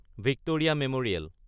Victoria memorial